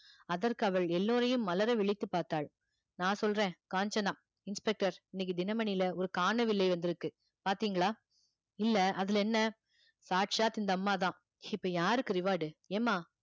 அதற்கு அவள் எல்லோரையும் மலர விழித்துப் பார்த்தாள் நான் சொல்றேன் காஞ்சனா inspector இன்னைக்கு தினமணியில ஒரு காணவில்லை வந்திருக்கு பார்த்தீங்களா இல்லை அதுல என்ன சாட்சாத் இந்த அம்மாதான் இப்ப யாருக்கு reward ஏம்மா